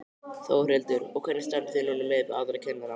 Þórhildur: Og hvernig standið þið núna miðað við aðra kennara?